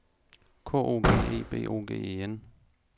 K O G E B O G E N